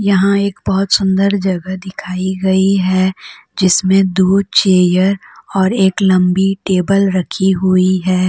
यहां एक बहोत सुंदर जगह दिखाई गई है जिसमें दो चेयर और एक लंबी टेबल रखी हुई है।